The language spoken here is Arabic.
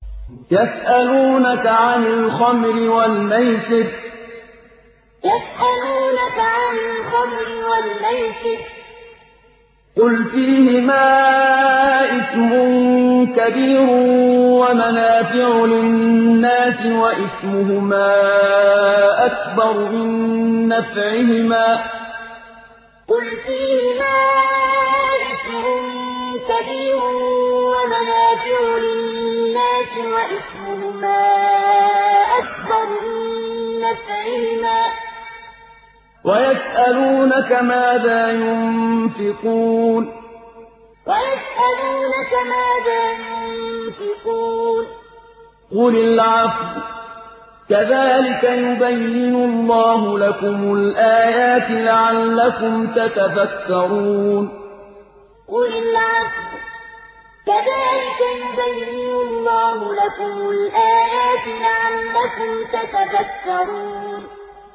۞ يَسْأَلُونَكَ عَنِ الْخَمْرِ وَالْمَيْسِرِ ۖ قُلْ فِيهِمَا إِثْمٌ كَبِيرٌ وَمَنَافِعُ لِلنَّاسِ وَإِثْمُهُمَا أَكْبَرُ مِن نَّفْعِهِمَا ۗ وَيَسْأَلُونَكَ مَاذَا يُنفِقُونَ قُلِ الْعَفْوَ ۗ كَذَٰلِكَ يُبَيِّنُ اللَّهُ لَكُمُ الْآيَاتِ لَعَلَّكُمْ تَتَفَكَّرُونَ ۞ يَسْأَلُونَكَ عَنِ الْخَمْرِ وَالْمَيْسِرِ ۖ قُلْ فِيهِمَا إِثْمٌ كَبِيرٌ وَمَنَافِعُ لِلنَّاسِ وَإِثْمُهُمَا أَكْبَرُ مِن نَّفْعِهِمَا ۗ وَيَسْأَلُونَكَ مَاذَا يُنفِقُونَ قُلِ الْعَفْوَ ۗ كَذَٰلِكَ يُبَيِّنُ اللَّهُ لَكُمُ الْآيَاتِ لَعَلَّكُمْ تَتَفَكَّرُونَ